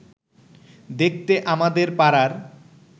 দেখতে আমাদের পাড়ার